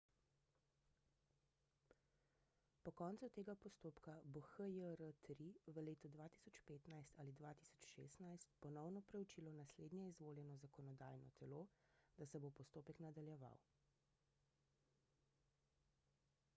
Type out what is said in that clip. po koncu tega postopka bo hjr-3 v letu 2015 ali 2016 ponovno preučilo naslednje izvoljeno zakonodajno telo da se bo postopek nadaljeval